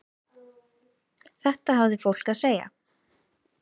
Þetta hafði fólk að segja.